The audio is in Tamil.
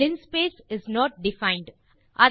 linspace is not defined